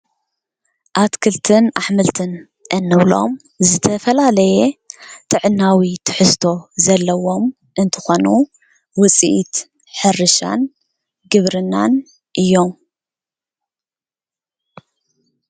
ኣትክልትን ኣሕምልትን እንብሎም ዝተፈላለየ ጥዕናዊ ትሕዝቶ ዘለዎም እንትኮኑ ዉፅኢት ሕርሻን ግብርናን እዮም ፡፡